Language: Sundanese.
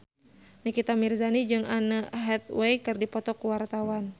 Nikita Mirzani jeung Anne Hathaway keur dipoto ku wartawan